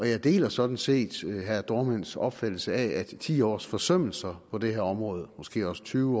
jeg deler sådan set herre dohrmanns opfattelse af at ti års forsømmelser på det her område måske også tyve